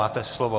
Máte slovo.